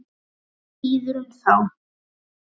Og hann líður um þá.